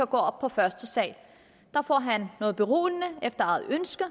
gå op på første sal der får han noget beroligende efter eget ønske